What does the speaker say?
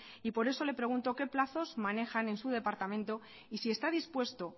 y por eso le pregunto qué plazos manejan en su departamento y si está dispuesto